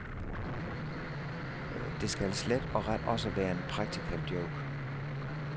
Det kan slet og ret også være en practical joke.